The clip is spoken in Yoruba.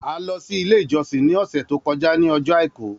A lọ si ile ijọsin ni ọsẹ to kọja ni ọjọ Aiku.